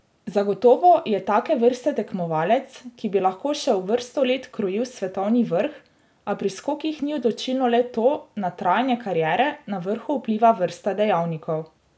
Zagotovo je take vrste tekmovalec, ki bi lahko še vrsto let krojil svetovni vrh, a pri skokih ni odločilno le to, na trajanje kariere na vrhu vpliva vrsta dejavnikov.